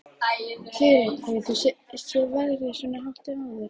Sigríður: Hefur þú séð verðið svona hátt áður?